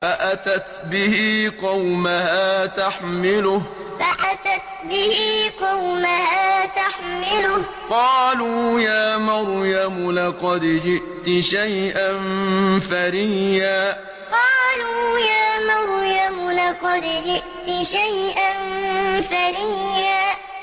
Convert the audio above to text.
فَأَتَتْ بِهِ قَوْمَهَا تَحْمِلُهُ ۖ قَالُوا يَا مَرْيَمُ لَقَدْ جِئْتِ شَيْئًا فَرِيًّا فَأَتَتْ بِهِ قَوْمَهَا تَحْمِلُهُ ۖ قَالُوا يَا مَرْيَمُ لَقَدْ جِئْتِ شَيْئًا فَرِيًّا